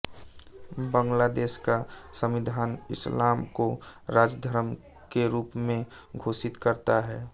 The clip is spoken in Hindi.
बांग्लादेश का संविधान इस्लाम को राज्य धर्म के रूप में घोषित करता है